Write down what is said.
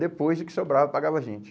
Depois, o que sobrava, pagava a gente.